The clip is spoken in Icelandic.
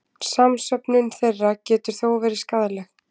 Samsöfnun þeirra getur þó verið skaðleg.